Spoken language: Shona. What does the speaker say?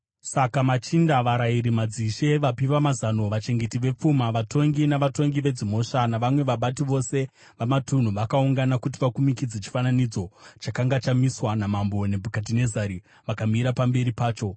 Saka machinda, varayiri, madzishe, vapi vamazano, vachengeti vepfuma, vatongi, navatongi vedzimhosva navamwe vabati vose vamatunhu vakaungana kuti vakumikidze chifananidzo chakanga chamiswa naMambo Nebhukadhinezari, vakamira pamberi pacho.